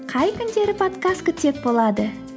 қай күндері подкаст күтсек болады